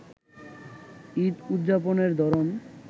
ঈদ উদযাপনের ধরন